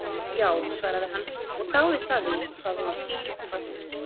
Já, svaraði hann og dáðist að því hvað hún var skýr og falleg.